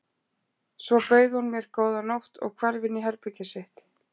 Svo bauð hún mér góða nótt og hvarf inn í herbergið sitt.